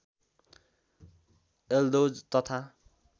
यल्दौज तथा